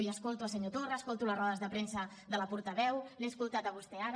i escolto el senyor torra escolto les rodes de premsa de la portaveu l’he escoltat a vostè ara